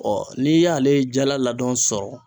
Ɔ n'i y'ale jala ladɔn sɔrɔ